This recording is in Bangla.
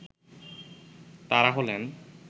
তারা হলেন